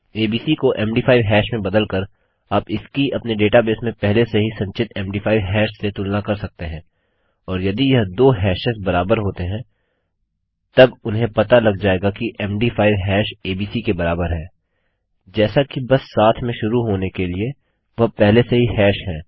ABC को MD5 hash में बदल कर आप इसकी अपने डेटाबेस में पहले से ही संचित मद5 हैश से तुलना कर सकते हैं और यदि यह दो हैशेस बराबर होते हैं तब उन्हें पता लग जाएगा कि मद5 हैश एबीसी के बराबर है जैसा कि बस साथ में शुरू होने के लिए वह पहले से ही हैश हैं